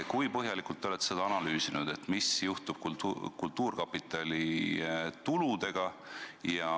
Kui põhjalikult te olete analüüsinud, mis juhtub kultuurkapitali tuludega?